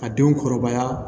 A denw kɔrɔbaya